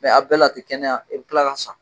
a bɛɛ la a ti kɛnɛya a bi tila ka san.